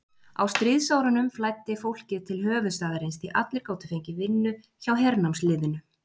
Á stríðsárunum flæddi fólkið til höfuðstaðarins, því allir gátu fengið vinnu hjá hernámsliðinu.